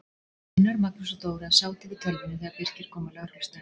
Gunnar, Magnús og Dóra sátu yfir tölvunni þegar Birkir kom á lögreglustöðina.